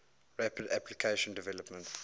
rapid application development